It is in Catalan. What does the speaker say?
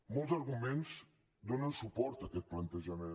molts arguments donen suport a aquest plantejament